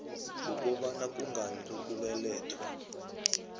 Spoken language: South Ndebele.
wokobana kungani ukubelethwa